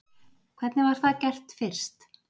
Hvernig var það gert fyrst?